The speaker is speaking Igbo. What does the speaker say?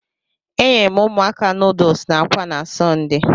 E nyeere m ụmụaka nuduls n'akwa na Sọnde.